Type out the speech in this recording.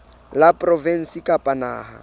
la provinse kapa la naha